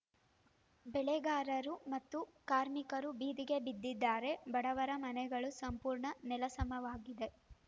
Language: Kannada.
ಬೆಳೆಗಾರರು ಮತ್ತು ಕಾರ್ಮಿಕರು ಬೀದಿಗೆ ಬಿದ್ದಿದ್ದಾರೆ ಬಡವರ ಮನೆಗಳು ಸಂಪೂರ್ಣ ನೆಲಸಮವಾಗಿವೆ